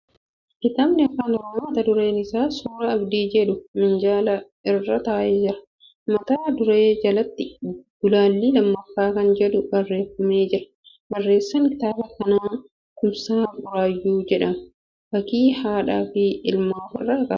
Kitaabni Afaan Oromoo mata dureen isaa Suuraa Abdii jedhu minjaala irra taa'ee jira. Mata duree jalatti gulaalli lammaffaa kan jedhu barreeffamee jira. Barreessaan kitaaba kanaa Kumsaa Burraayyuu jedhamaa. Fakkii haadha fi ilmaa ofirraa qaba.